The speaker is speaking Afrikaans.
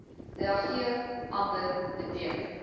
reageer amber beteken